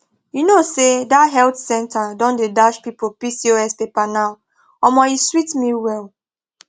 you know say that health center don dey dash people pcos paper now omo e sweet me well